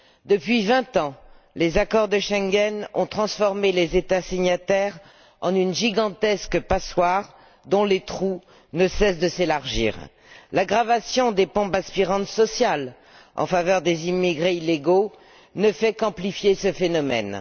Depuis vingt ans, les accords de Schengen ont transformé les États signataires en une gigantesque passoire dont les trous ne cessent de s'élargir. L'aggravation des pompes aspirantes sociales en faveur des immigrés illégaux ne fait qu'amplifier ce phénomène.